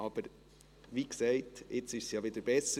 Aber, wie gesagt, ist es ja jetzt wieder besser.